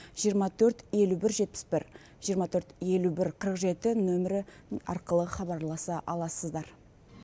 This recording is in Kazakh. жиырма төрт елу бір жетпіс бір жиырма төрт елу бір қырық жеті нөмірі арқылы хабарласа аласыздар